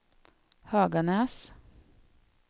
Höganäs